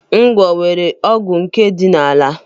Ngwọ nwere ọgwụ nke ọdịnaala.